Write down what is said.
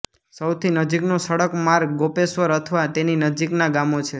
સૌથી નજીકનો સડક માર્ગ ગોપેશ્વર અથવા તેની નજીકના ગામો છે